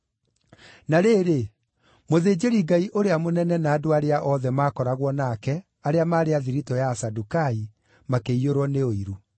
Na rĩrĩ, mũthĩnjĩri-Ngai ũrĩa mũnene na andũ arĩa othe maakoragwo nake, arĩa maarĩ a thiritũ ya Asadukai, makĩiyũrwo nĩ ũiru.